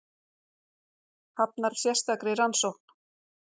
Hafnar sérstakri rannsókn